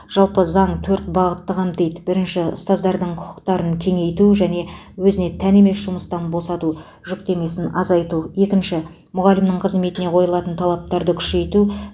жалпы заң төрт бағытты қамтиды бірінші ұстаздардың құқықтарын кеңейту және өзіне тән емес жұмыстан босату жүктемесін азайту екінші мұғалімнің қызметіне қойылатын талаптарды күшейту